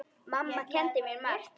Mamma kenndi mér margt.